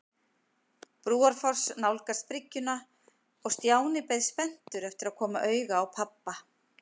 Brúarfoss nálgast bryggjuna og Stjáni beið spenntur eftir að koma auga á pabba.